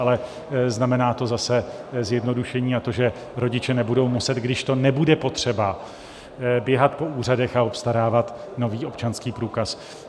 Ale znamená to zase zjednodušení, a to, že rodiče nebudou muset, když to nebude potřeba, běhat po úřadech a obstarávat nový občanský průkaz.